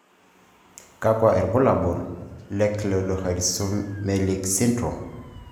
kakwa ibulaul d Cleidorhizomelic syndrome.